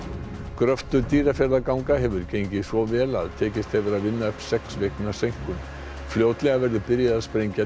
gröftur Dýrafjarðarganga hefur gengið svo vel að tekist hefur að vinna upp sex vikna seinkun fljótlega verður byrjað að sprengja